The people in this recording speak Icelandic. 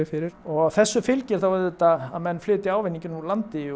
fyrir og þessu fylgir auðvitað að menn flytja ávinninginn úr landi